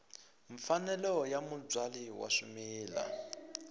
mfanelo ya mubyali wa swimila